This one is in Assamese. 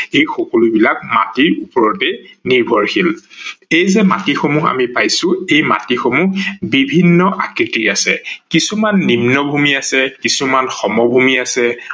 এই সকলো বিলাক মাটিৰ ওপৰতে নিৰ্ভৰশীল ।এই যে মাটি সমূহ আমি পাইছো এই মাটি সমূহ বিভিন্ন আকৃতিৰ আছে কিছুমান নিম্নভূমি আছে, কিছুমান সমভূমি আছে